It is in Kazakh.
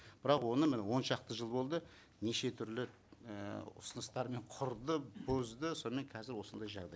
бірақ оны міне он шақты жыл болды неше түрлі ііі ұсыныстар мен құрды бұзды сонымен қазір осындай жағдай